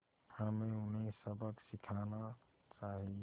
हमें उन्हें सबक सिखाना चाहिए